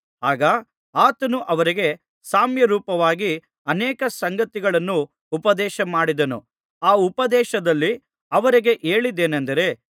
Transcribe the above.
ಆಗ ಆತನು ಅವರಿಗೆ ಸಾಮ್ಯರೂಪವಾಗಿ ಅನೇಕ ಸಂಗತಿಗಳನ್ನು ಉಪದೇಶಮಾಡಿದನು ಆ ಉಪದೇಶದಲ್ಲಿ ಅವರಿಗೆ ಹೇಳಿದ್ದೇನಂದರೆ